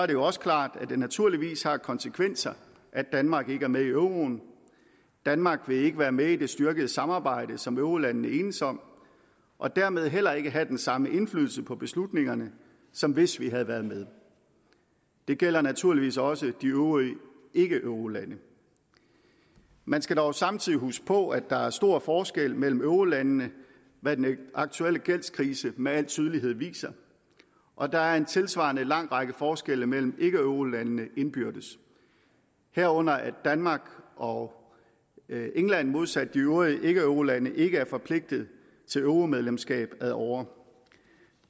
det jo også klart at det naturligvis har konsekvenser at danmark ikke er med i euroen danmark vil ikke være med i det styrkede samarbejde som eurolandene enes om og dermed heller ikke have den samme indflydelse på beslutningerne som hvis vi havde været med det gælder naturligvis også de øvrige ikkeeurolande man skal dog samtidig huske på at der er stor forskel mellem eurolandene hvad den aktuelle gældskrise med al tydelighed viser og der er en tilsvarende lang række forskelle mellem ikkeeurolandene indbyrdes herunder at danmark og england modsat de øvrige ikkeeurolande ikke er forpligtede til euromedlemskab ad åre